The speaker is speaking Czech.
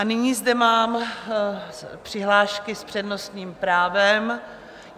A nyní zde mám přihlášky s přednostním právem.